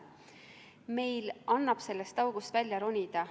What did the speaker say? Meil annab sellest august välja ronida.